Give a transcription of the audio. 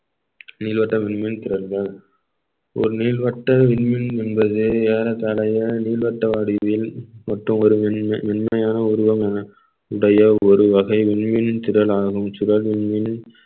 நீள்வட்டமின்மை திறன்கள் ஒரு நீள்வட்ட விண்மீன் என்பது ஏறத்தாழைய நீள்வட்ட வடிவில் மொத்தம் ஒரு மென்~ மென்மையான உருவம் என உடைய ஒரு வகை மின்மீன் திறலாகவும் சுடர்மின்